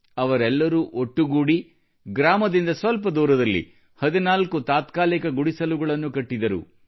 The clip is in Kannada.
ಅವರೆಲ್ಲರೂ ಒಟ್ಟುಗೂಡಿ ಹಳ್ಳಿಯಿಂದ ಸ್ವಲ್ಪ ದೂರದಲ್ಲಿ 14 ತಾತ್ಕಾಲಿಕ ಗುಡಿಸಲುಗಳನ್ನು ಕಟ್ಟಿದರು